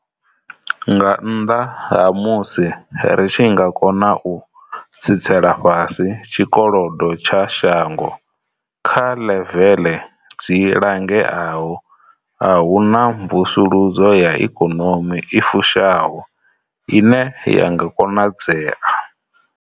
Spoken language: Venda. Nga nnḓa ha musi ri tshi nga kona u tsitsela fhasi tshikolodo tsha shango kha ḽeveḽe dzi langeaho a hu na mvusuludzo ya ikonomi i fushaho ine ya nga konadzea.